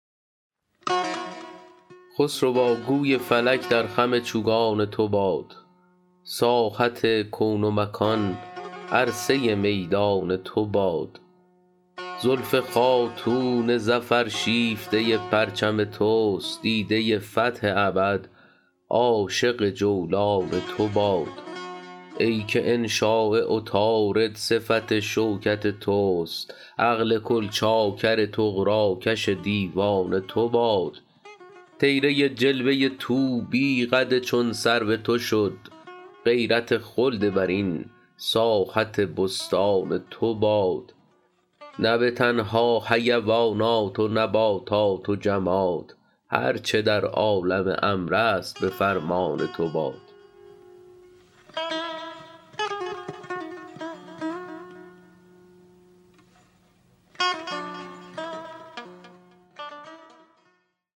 خسروا گوی فلک در خم چوگان تو باد ساحت کون و مکان عرصه میدان تو باد زلف خاتون ظفر شیفته پرچم توست دیده فتح ابد عاشق جولان تو باد ای که انشاء عطارد صفت شوکت توست عقل کل چاکر طغراکش دیوان تو باد طیره جلوه طوبی قد چون سرو تو شد غیرت خلد برین ساحت بستان تو باد نه به تنها حیوانات و نباتات و جماد هر چه در عالم امر است به فرمان تو باد